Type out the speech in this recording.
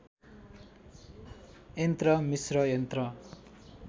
यन्त्र मिस्र यन्त्र